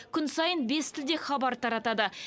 күн сайын бес тілде хабар таратады